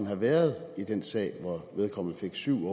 have været i den sag hvor vedkommende fik syv